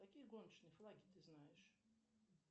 какие гоночные флаги ты знаешь